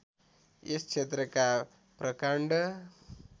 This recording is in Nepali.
यस क्षेत्रका प्रकाण्ड